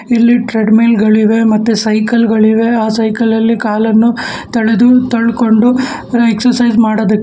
ಇಲ್ಲಿ treadmill ಗಳಿವೆ ಮತ್ತೆ ಸೈಕಲ್ ಗಳಿವೆ ಆ ಸೈಕಲ್ಲಲ್ಲಿ ಕಾಲನ್ನು ತಡೆದು ತಳ್ಕೊಂಡು ಎಕ್ಸರ್ಸೈಸ್ ಮಾಡೊದಕ್ಕೆ--